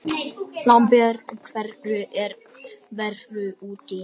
Lambert, hvernig er veðrið úti?